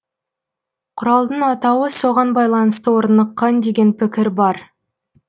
құралдың атауы соған байланысты орныққан деген пікір бар